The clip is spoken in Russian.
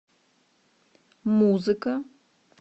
музыка